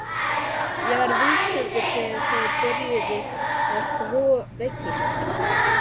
Ég var viðstaddur þegar þeir byrjuðu að þvo veggina.